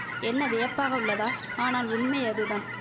என்ன வியப்பாக உள்ளதா ஆனால் உண்மை அதுதான்